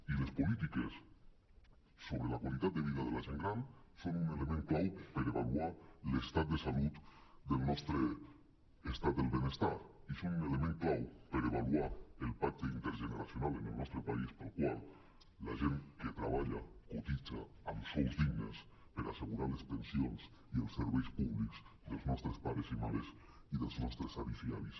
i les polítiques sobre la qualitat de vida de la gent gran són un element clau per avaluar l’estat de salut del nostre estat del benestar i són un element clau per avaluar el pacte intergeneracional en el nostre país pel qual la gent que treballa cotitza amb sous dignes per assegurar les pensions i els serveis públics dels nostres pares i mares i dels nostres avis i àvies